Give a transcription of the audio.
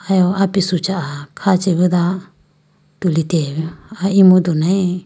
Ayiwo apisu chaha kha chibido tulitegalayibi aye emudu nayi.